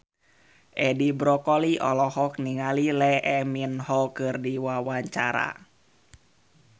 Edi Brokoli olohok ningali Lee Min Ho keur diwawancara